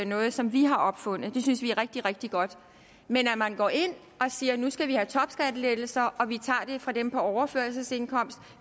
noget som vi har opfundet det synes vi er rigtig rigtig godt men når man går ind og siger at nu skal vi have topskattelettelser og at vi tager det fra dem på overførselsindkomst